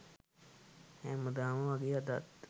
හැමදාම වගේ අදත්